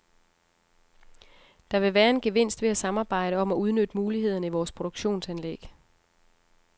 Der vil være en gevinst ved at samarbejde om at udnytte mulighederne i vores produktionsanlæg.